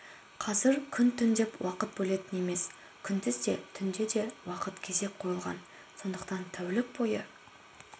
қазір күн-түн деп уақыт бөлетін емес күндіз де түнде де уақыт кезек қойылған сондықтан тәулік бойы